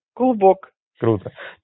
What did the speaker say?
клубок круто